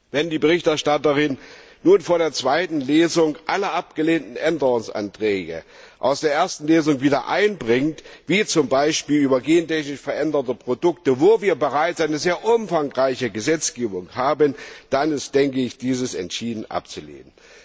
Wenn die Berichterstatterin nun vor der zweiten Lesung alle abgelehnten Änderungsanträge aus der ersten Lesung wieder einbringt, wie zum Beispiel über gentechnisch veränderte Produkte, wo wir bereits eine sehr umfangreiche Gesetzgebung haben, dann ist dieses entschieden abzulehnen.